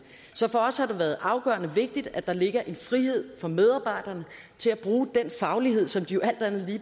så for os har det været afgørende vigtigt at der ligger en frihed for medarbejderne til at bruge den faglighed som de jo alt andet